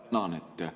Tänan!